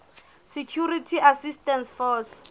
security assistance force